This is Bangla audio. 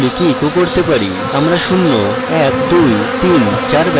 আমরা শূন্য we দুই তিন চার ব্যবহার করতে পারি এবং এরকম চলবে